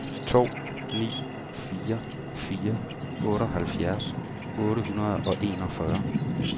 to ni fire fire otteoghalvfjerds otte hundrede og enogfyrre